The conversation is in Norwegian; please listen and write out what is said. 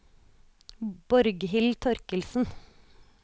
Borghild Torkildsen